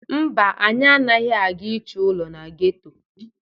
Mba, anyị anaghị aga ịchọ ụlọ na geto.